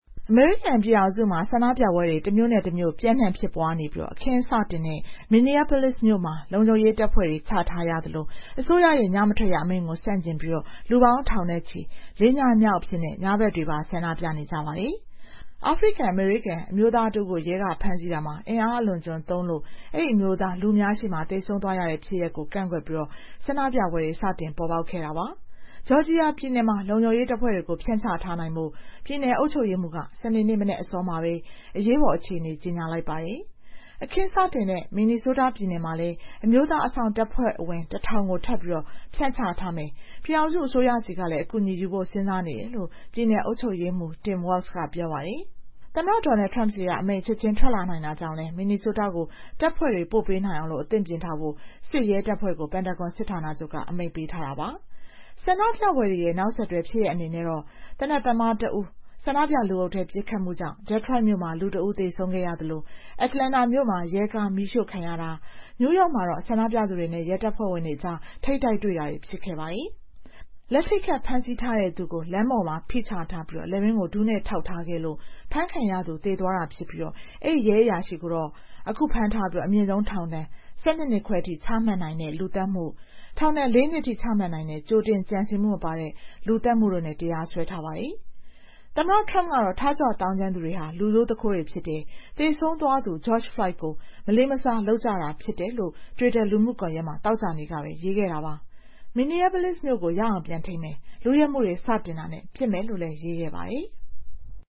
အမေရိကန်ပြည်ထောင်စုမှာ ဆန္ဒပြပွဲတွေ တမြို့နဲ့တမြို့ ပျံ့နှံ့ဖြစ်ပွားနေပြီး အခင်းစတင်တဲ့ Minneapolis မြို့မှာ လုံခြုံရေးတပ်ဖွဲ့တွေ ချထားရသလို အစိုးရရဲ့ ညမထွက်ရအမိန့်ကို ဆန့်ကျင်ပြီး လူပေါင်းထောင်နဲ့ချီ ၄ ညမြောက်အဖြစ် ညဘက်တွေပါ ဆန္ဒပြနေကြပါတယ်။ အာဖရိကန်-အမေရိကန် အမျိုးသားတဦးကို ရဲက ဖမ်းဆီးတာမှာ အင်အားအလွန်အကျွံသုံးလို့ အဲဒီအမျိုးသား လူအများရှေ့မှာ သေဆုံးသွားရတဲ့ ဖြစ်ရပ်ကို ကန့်ကွက်ပြီး ဆန္ဒပြပွဲတွေ စတင်ပေါ်ပေါက်လာတာပါ။ ဂျော်ဂျီယာပြည်နယ်မှာတော့ လုံခြုံရေးတပ်ဖွဲ့တွေကို ဖြန့်ချထားနိုင်ဖို့ ပြည်နယ်အုပ်ချုပ်ရေးမှူးက စနေနေ့ မနက်အစောမှာပဲ အရေးပေါ်အခြေအနေ ကြေညာလိုက်ပါတယ်။ အခင်းစတင်တဲ့ Minnesota ပြည်နယ်မှာလည်း အမျိုးသား အစောင့်တပ်ဖွဲ့ဝင် ၁,၀၀၀ ကို ထပ်ပြီး ဖြန့်ချမယ်၊ ပြည်ထောင်စုအစိုးရဆီကလည်း အကူအညီယူဖို့ စဉ်းစားနေတယ်လို့ ပြည်နယ်အုပ်ချုပ်ရေးမှူး Tim Waltz က ပြောပါတယ်။ သမ္မတ Donald Trump ဆီက အမိန့် ချက်ချင်းထွက်လာနိုင်တာကြောင့်လည်း Minnesota ကို တပ်ဖွဲ့တွေ ပို့ပေးနိုင်အောင် အသင့်ပြင်ထားဖို့ စစ်ရဲတပ်ဖွဲ့ကို Pantagon စစ်ဌာနချုပ်က အမိန့်ပေးထားပါတယ်။ ဆန္ဒပြပွဲတွေရဲ့ နောက်ဆက်တွဲဖြစ်ရပ်တွေ အနေနဲ့တော့ သေနတ်သမားတဦး ဆန္ဒပြလူအုပ်ထဲ ပစ်ခတ်မှုကြောင့် Detroit မြို့မှာ လူတဦး သေဆုံးခဲ့ရသလို Atlanta မြို့မှာ ရဲကား မီးရှို့ခံရတာ၊ နယူးယောက်မှာတော့ ဆန္ဒပြသူတွေနဲ့ ရဲတပ်ဖွဲ့အကြား ထိပ်တိုက်တွေ့တာတွေ ဖြစ်ခဲ့ပါတယ်။ လက်ထိပ်ခတ် ဖမ်းဆီးပြီးသူကို လမ်းပေါ်မှာ ဖိချထားပြီး လည်ပင်းကို ဒူးနဲ့ထောက်ထားခဲ့လို့ အဖမ်းခံရသူ သေသွားတာဖြစ်ပြီး အဲဒီရဲအရာရှိကိုတော့ ဖမ်းထားပြီး အမြင့်ဆုံး ထောင်ဒဏ် ၁၂ နှစ်ခွဲထိ ချမှတ်နိုင်တဲ့ လူသတ်မှု၊ ထောင်ဒဏ် ၄ နှစ်ထိ ချမှတ်နိုင်တဲ့ ကြိုတင်ကြံစည်မှုမပါတဲ့ လူသတ်မှုတို့နဲ့ တရားစွဲထားပါတယ်။ သမ္မတ Trump ကတော့ ထကြွသောင်းကျန်းသူတွေဟာ လူဆိုးသူခိုးတွေဖြစ်တယ်၊ သေဆုံးသွားသူ George Floyd ကို မလေးမစား လုပ်နေကြတာ ဖြစ်တယ်လို့ တွစ်တာ လူမှုကွန်ရက်မှာ သောကြာနေ့ကပဲ ရေးခဲ့တာပါ။ Minneapolis မြို့ကို ရအောင်ပြန်ထိန်းမယ်၊ လုယက်မှုတွေ စလုပ်တာနဲ့ ပစ်မယ်လို့လည်း ရေးခဲ့ပါတယ်။